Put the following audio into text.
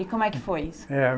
E como é que foi isso?